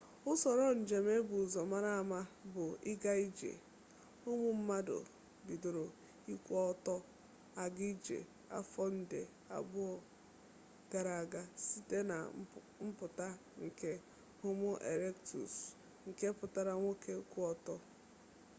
usoro njem e bu ụzọ mara ama bụ ịga ije ụmụ mmadụ bidoro ịkwụ ọtọ aga ije afọ nde abụọ gara aga site na mpụta nke homo erektus nke pụtara nwoke kwụ ọtọ